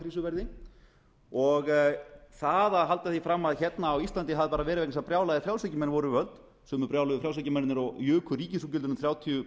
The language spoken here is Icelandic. verði og það að halda því fram að hérna á íslandi hafi það bera verið vegna þess að brjálaðir frjálshyggjumenn voru við völd sömu brjáluðu frjálshyggjumennirnir og juku ríkisútgjöldin um þrjátíu